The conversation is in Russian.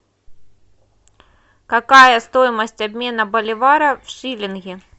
какая стоимость обмена боливара в шиллинги